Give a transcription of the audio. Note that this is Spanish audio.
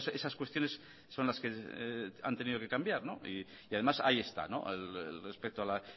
esas cuestiones son las que han tenido que cambiar y además ahí está respecto a la